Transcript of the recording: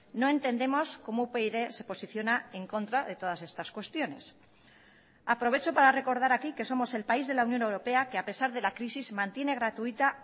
no entendemos como upyd se posiciona en contra de todas estas cuestiones aprovecho para recordar aquí que somos el país de la unión europea que a pesar de la crisis mantiene gratuita